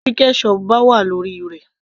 Tí ketchup bá wà lórí rẹ̀